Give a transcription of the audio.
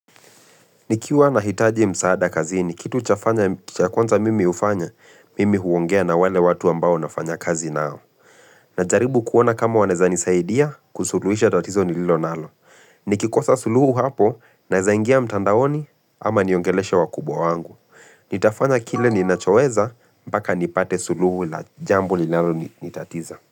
Nikiwa na hitaji msaada kazini, kitu cha kwanza mimi hufanya, mimi huongea na wale watu ambao nafanya kazi nao. Najaribu kuona kama wanaweza nisaidia, kusuluhisha tatizo ni lilo nalo. Nikikosa suluhu hapo, nawe zaingia mtandaoni, ama niongeleeshe wa kubwa wangu. Nitafanya kile ninachoweza, mpaka nipate suluhu la jambo linalo ni tatiza.